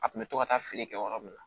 A kun bɛ to ka taa feere kɛ yɔrɔ min na